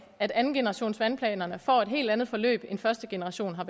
at andengenerationsvandplanerne får et helt andet forløb end første generation har